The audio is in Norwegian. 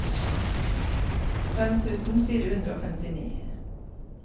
fem tusen fire hundre og femtini